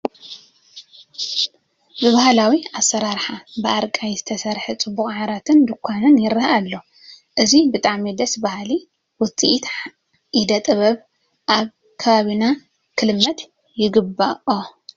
ብባህላዊ ኣሰራርሓ ብኣርቃይ ዝተሰርሐ ፅቡቕ ዓራትን ዱኳን ይርአ ኣሎ፡፡ እዚ ብጣዕሚ ደስ በሃሊ ውፅኢት ኢደ ጥበብ ኣብ ከባቢና ክልመድ ይግብኦ፡፡